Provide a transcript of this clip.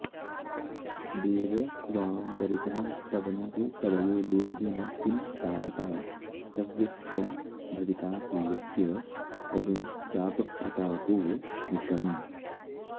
देव त्वां परितः स्तवन्तु कवयो लोभेन किं तावता स्तव्यस्त्वं भवितासि यस्य तरुणश्चापप्रतापोऽनिशम्